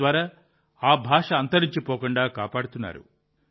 తద్వారా ఆ భాష అంతరించిపోకుండా కాపాడుతున్నారు